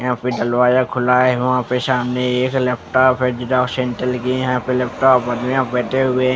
यहां पे दलवाजा खुला है वहां पे सामने एक लैपटॉप है जिरोक्स सेंटल की यहां पे लैपटॉप यहां बैठे हुए --